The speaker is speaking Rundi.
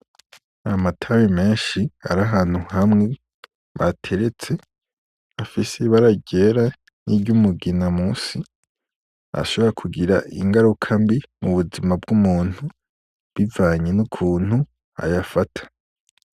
Amatabi menshi ari ahantu hamwe bateretse, afise ibara ryera ni ry'umugina munsi ashobora kugira ingaruka mbi mu buzima bw'umuntu bivanye n'ukuntu ayafata.